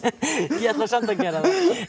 ég ætla samt að gera það